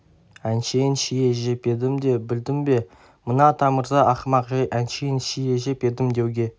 әншейін шие жеп едім де білдің бе мына атамырза ақымақ жәй әншейін шие жеп едім деуге